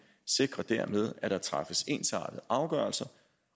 sikrer dermed at der træffes ensartede afgørelser